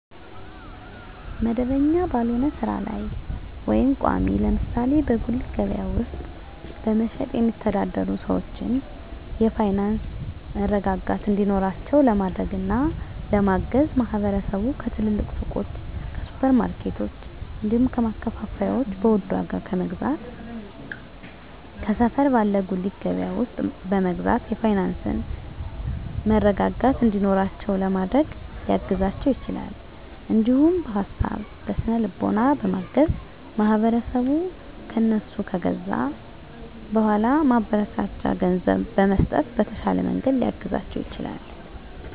መደበኛ ባልሆነ ስራ ላይ ወይም ቋሚ (ለምሳሌ በጉሊት ገበያ ውስጥ በመሸጥ የሚተዳደሩ ሰዎችን የፋይናንስ መረጋጋት እንዲኖራቸው ለማድረግና ለማገዝ ማህበረሰቡ ከትልልቅ ሱቆች፣ ከሱፐር ማርኬቶች፣ እንዲሁም ከማከፋፈያዎች በውድ ዋጋ ከመግዛት ከሰፈር ባለ ጉሊት ገበያ ውስጥ በመግዛት የፋይናንስ መረጋጋት እንዲኖራቸው ለማድረግ ሊያግዛቸው ይችላል። እንዲሁም በሀሳብ በስነ ልቦና በማገዝ ማህበረሰቡ ከእነሱ ከገዛ በኃላ ማበረታቻ ገንዘብ በመስጠት በተሻለ መንገድ ሊያግዛቸው ይችላል።